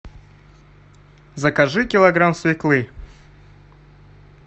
закажи килограмм свеклы